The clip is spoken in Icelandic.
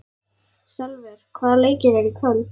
Salvör, hvaða leikir eru í kvöld?